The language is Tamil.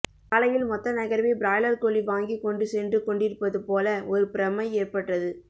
காலையில் மொத்த நகரமே பிராய்லர் கோழி வாங்கிக் கொண்டுசென்றுகொன்டிருப்பது போல ஒரு பிரமை ஏற்பட்டது